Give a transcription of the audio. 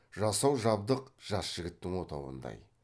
жасау жабдық жас жігіттің отауындай